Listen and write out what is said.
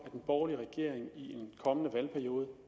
en borgerlig regering i en kommende valgperiode